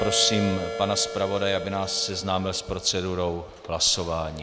Prosím pana zpravodaje, aby nás seznámil s procedurou hlasování.